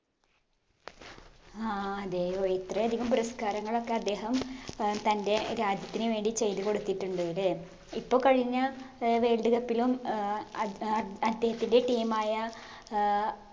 ആ അതെ ഓ ഇത്രയധികം പുരസ്കാരങ്ങളൊക്കെ അദ്ദേഹം ഏർ തൻറെ രാജ്യത്തിന് വേണ്ടി ചെയ്ത് കൊടുത്തിട്ടുണ്ട് ലേ ഇപ്പൊ കഴിഞ്ഞ ഏർ world cup ലും ഏർ അത് ഏർ അദ്ദേഹത്തിൻറെ team ആയ ഏർ